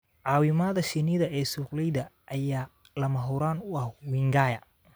Caawimada shinnida ee sukukleyda ayaa lama huraan u ah wingaya.